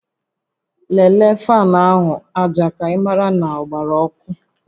Lelee faanụ áhụ̀ aja ka ị mara ma ọ gbara ọkụ